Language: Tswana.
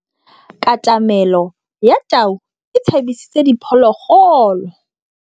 Katamêlô ya tau e tshabisitse diphôlôgôlô.